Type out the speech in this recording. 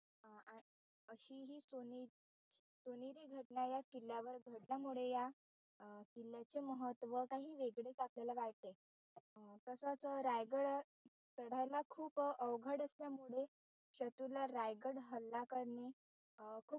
घटना या किल्ल्यावर घडल्यामुळे या किल्ल्याचे महत्व काही वेगळेच आपल्याला वाटते तसेच रायगड चढायला खूप अवघड असल्यामुळे शत्रूला रायगड हल्ला करणे, ह खूप